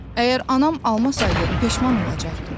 Əgər anam almasaydı peşman olacaqdım.